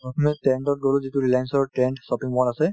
প্ৰথমে trend ত গ'লো যিটো ৰিলাইএন্চি ৰ trend shopping mall আছে